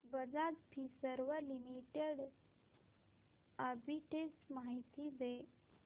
Bajaj Finserv limited arbitrage माहिती दे